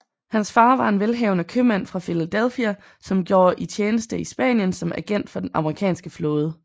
Hans far var en velhavende købmand fra Philadelphia som gjorde i tjeneste i Spanien som agent for den amerikanske flåde